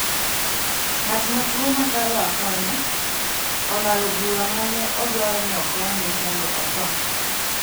Ng’at ma tuo mokalo akonya, olalo bura mane odwaro ni okonye mondo otho